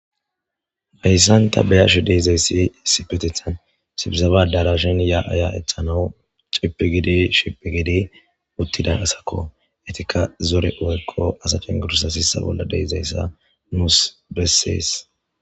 heyssanta beyarshe deizayssi sipetethan sifisaba dara shen yaya ethanawu cipi gidi shipi gede uttidan asakko etika zore woykko asaken gurussa sissa bolla deizayssa nuus bessees